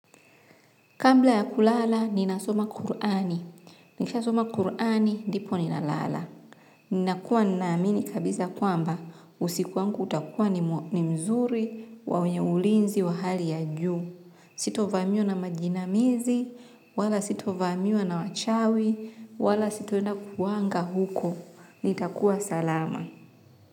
Kabla ya kulala, ninasoma Kurani. Nikishasoma Kurani ndipo ninalala. Ninakuwa ninaamini kabisa kwamba usiku wangu utakuwa ni mzuri wenye ulinzi wa hali ya juu. Sitovamiwa na majinamizi, wala sitovamiwa na wachawi, wala sitoenda kuanga huko. Nitakuwa salama.